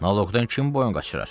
Naloqdan kim boyun qaçırar?